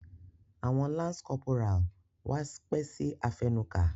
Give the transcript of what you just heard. Awọn lance corporal wá pẹ si afẹnuka.